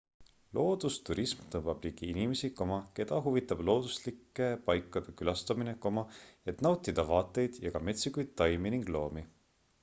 loodusturism tõmbab ligi inimesi keda huvitab looduslike paikade külastamine et nautida vaateid ja ka metsikuid taimi ning loomi